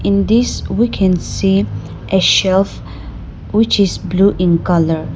in this we can see a shelf which is blue in colour.